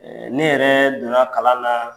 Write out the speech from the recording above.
ne yɛrɛ don na kalan na